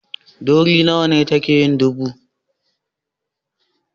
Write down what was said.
Ɗoriya nawa ce take yin dubu?